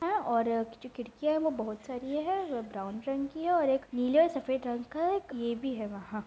हैं और जो खिड़कियाँ हैं वो बोहोत सारी है। वो ब्राउन रंग की है और एक नीले और सफेद रंग का एक ये भी है वहाँ। --